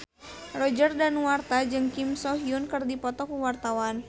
Roger Danuarta jeung Kim So Hyun keur dipoto ku wartawan